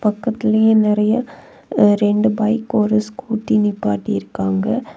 பக்கத்திலேயே நெறைய ரெண்டு பைக் ஒரு ஸ்கூட்டி நிப்பாட்டி இருக்காங்க.